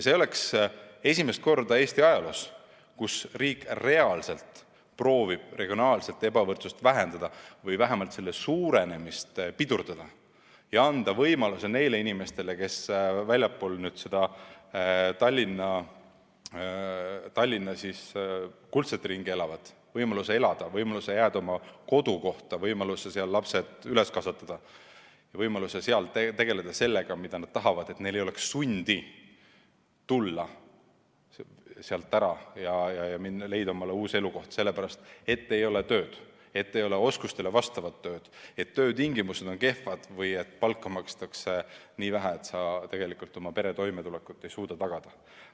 See oleks esimene kord Eesti ajaloos, kui riik reaalselt prooviks regionaalset ebavõrdsust vähendada või vähemalt selle suurenemist pidurdada ja anda võimaluse neile inimestele, kes elavad väljaspool seda Tallinna kuldset ringi – anda neile võimaluse elada, võimaluse jääda oma kodukohta, võimaluse seal lapsed üles kasvatada, võimaluse seal tegeleda sellega, millega nad tahavad, nii et neil ei oleks sundi tulla sealt ära ja leida omale uus elukoht, sellepärast et maal ei ole oskustele vastavat tööd, töötingimused on kehvad või palka makstakse nii vähe, et oma pere toimetulekut ei suudeta tagada.